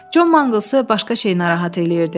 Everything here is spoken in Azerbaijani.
Con Manglsı başqa şey narahat eləyirdi.